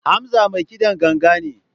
Hamza mai kidan ganga ne.